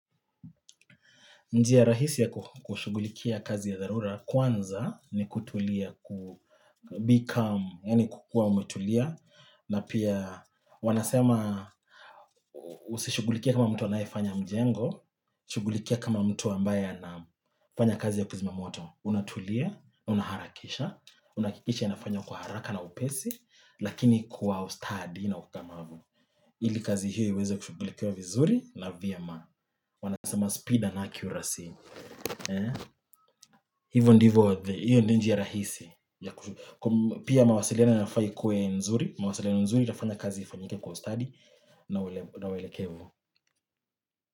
Njia rahisi ya kushugulikia kazi ya dharura, kwanza ni kutulia, ku be calm, yaani kukua umetulia, na pia wanasema usishugulikia kama mtu anayefanya mjengo, shughulikia kama mtu ambaye anafanya kazi ya kuzima moto, unatulia, unaharakisha, unahakikisha inafanywa kwa haraka na upesi, lakini kwa ustadi na ukamavu. Ili kazi hiyo iweze kushughulikiwa vizuri na vyema. Wanasema speed and accuracy. Hivyo ndivyo, hiyo ndiyo njia rahisi. Pia mawasiliano inafaa ikue nzuri, mawasiliano nzuri itafanya kazi ifanyike kwa ustadi na uelekevu.